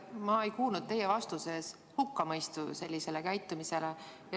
Ma ei kuulnud teie vastuses sellise käitumise hukkamõistu.